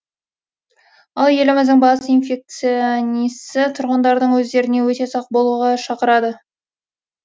ал еліміздің бас инфекционисі тұрғындардың өздеріне өте сақ болуға шақырады